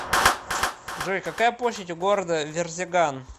джой какая площадь у города верзеган